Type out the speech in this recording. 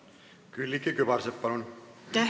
Külliki Kübarsepp, palun!